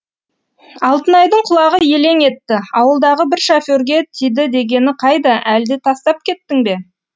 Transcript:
алтынайдың құлағы елең етті ауылдағы бір шоферға тиді дегені қайда әлде тастап кеттің бе